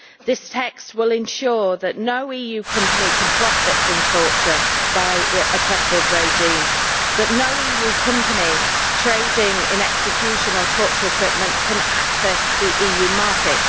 This text will ensure that no EU company can profit from torture by oppressive regimes, and that no EU company trading in execution or torture equipment can access the EU market.